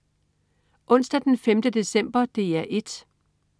Onsdag den 5. december - DR 1: